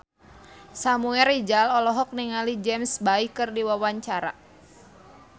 Samuel Rizal olohok ningali James Bay keur diwawancara